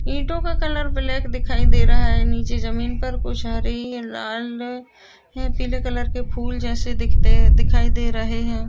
ईटो का colour black दिखाई दे रहा है नीचे जमीन पर कुछ हरी लाल या पिले कलर के फूल जेसे दिखते दिखाई दे रहे है।